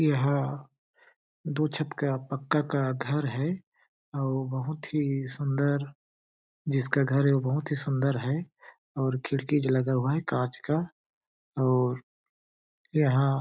यहाँ दो छत का पक्का का घर है आउ बहुत ही सुंदर जिसका घर है वो बहुत ही सुंदर है और खिड़की भी लगा हुआ है कांच का और यहाँ--